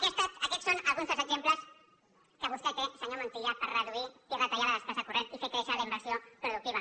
aquests són alguns dels exemples que vostè té senyor montilla per reduir i retallar la despesa corrent i fer créixer la inversió productiva